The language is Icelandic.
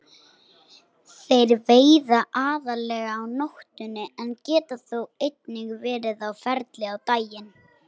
Þeir veiða aðallega á nóttunni en geta þó einnig verið á ferli á daginn.